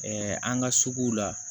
an ka suguw la